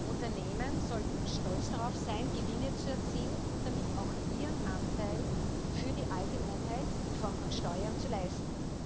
Unternehmen sollten stolz darauf sein, Gewinne zu erzielen und damit auch ihren Anteil für die Allgemeinheit in Form von Steuern zu leisten.